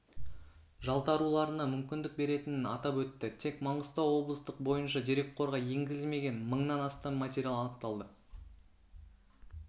жалтаруларына мүмкіндік беретінін атап өтті тек маңғыстау облыстық бойынша дерекқорға енгізілмеген мыңнан астам материал анықталды